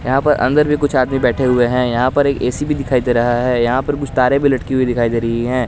यहां पर अंदर भी कुछ आदमी बैठे हुए हैं यहां पर एक ए_सी भी दिखाई दे रहा है यहां पर कुछ तारे भी लटकी हुई दिखाई दे रही है।